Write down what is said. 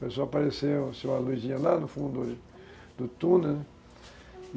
começou aparecer uma luzinha lá no fundo do túnel, né?